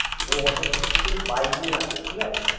ও অতদূর থেকে বাইক নিয়ে আসে ঠিকাছে।